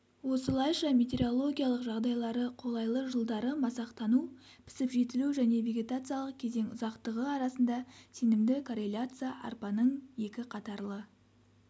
осылайша метеорологиялық жағдайлары қолайлы жылдары масақтану – пісіп-жетілу және вегетациялық кезең ұзақтығы арасында сенімді корреляция арпаның екі қатарлы